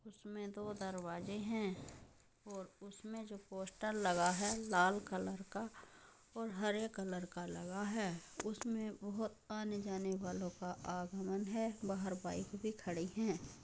उसमें दो दरवाजे हैं और उसमे जो पोस्टर लगा है| लाल कलर का और हरे कलर का लगा है| उसमे बोहोत आने जाने वालो का आगमन है| बाहर बाइक भी खड़ी है।